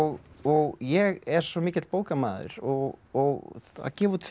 og ég er svo mikill bókamaður og og að gefa út fimm